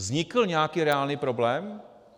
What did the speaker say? Vznikl nějaký reálný problém?